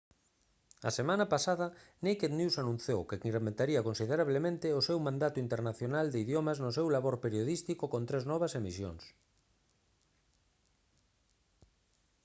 a semana pasada naked news anunciou que incrementaría considerablemente o seu mandado internacional de idiomas no seu labor periodístico con tres novas emisións